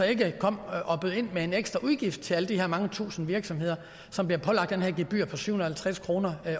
ikke kom og bød ind med en ekstra udgift til alle de her mange tusinde virksomheder som bliver pålagt det her gebyr på syv hundrede og halvtreds kroner